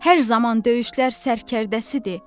Hər zaman döyüşlər sərdkərdəsidir.